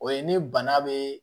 O ye ni bana be